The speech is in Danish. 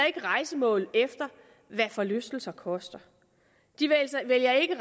rejsemål efter hvad forlystelser koster og de vælger ikke